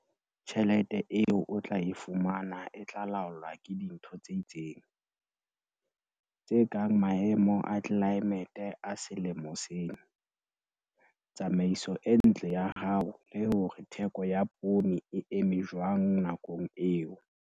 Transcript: Tjhelete eo o tla e fumana e tla laolwa ke dintho tse itseng, tse kang maemo a tlelaemete a selemo seno, tsamaiso e ntle ya hao le hore theko ya poone e eme jwang nakong eo.